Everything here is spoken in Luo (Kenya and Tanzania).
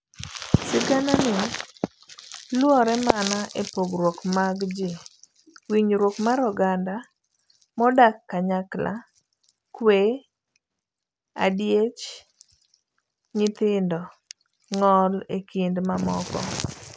Siganani luorre mana epogruok mag ji, winjruok mar oganda modak kanyakla, kwe, adiech nyithindo, ng'ol ekind mamoko.